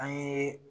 An ye